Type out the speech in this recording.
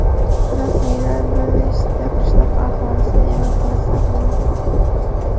Rasmiylar bir nechta qishloq aholisini evakuatsiya qilmoqda.